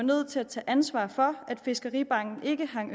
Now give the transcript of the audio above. nødt til at tage ansvar for at fiskeribanken ikke hang